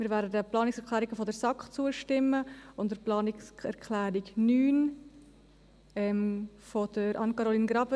Wir werden den Planungserklärungen der SAK zustimmen und der Planungserklärung 9 von Anne-Caroline Graber;